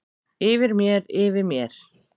Yfir mér, yfir mér.